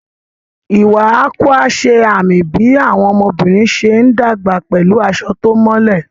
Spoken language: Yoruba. Iwa Akwa ṣe àmì bí àwọn ọmọbìnrin ṣe ń dàgbà pẹ̀lú aṣọ tó mọ́lẹ̀.